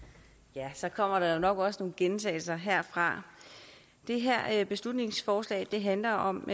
ja så kommer der jo nok også nogle gentagelser herfra det her beslutningsforslag handler om